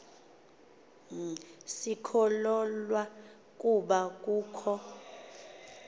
sikholwa ukuba kukho